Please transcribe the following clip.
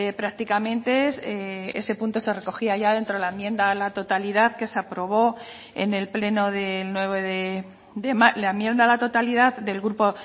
prácticamente ese punto se recogía ya dentro de la enmienda a la totalidad que se aprobó en el pleno de nueve la enmienda a la totalidad del grupo